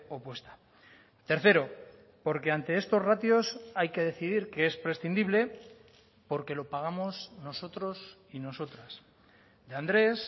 opuesta tercero porque ante estos ratios hay que decidir qué es prescindible porque lo pagamos nosotros y nosotras de andrés